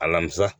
Alamisa